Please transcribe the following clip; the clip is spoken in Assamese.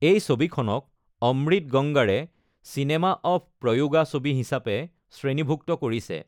এই ছবিখনক অমৃত গংগাৰে চিনেমা অৱ প্ৰয়োগা ছবি হিচাপে শ্ৰেণীভুক্ত কৰিছে।